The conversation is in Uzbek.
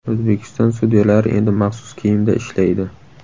O‘zbekiston sudyalari endi maxsus kiyimda ishlaydi.